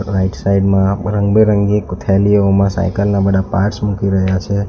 Right side માં રંગબેરંગી ગુથેલીઓમાં સાયકલ ના બધા પાર્ટ્સ મૂકી રહ્યા છે.